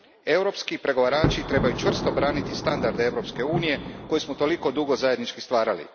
Europski pregovarači trebaju čvrsto braniti standarde EU a, koje smo toliko dugo zajednički stvarali.